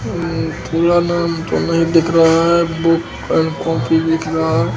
ये दिख रहा है बुक एंड कॉपी दिख रहा है।